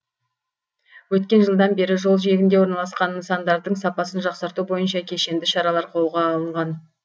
өткен жылдан бері жол жиегінде орналасқан нысандардың сапасын жақсарту бойынша кешенді шаралар қолға алынған